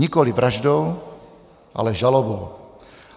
Nikoliv vraždou, ale žalobou.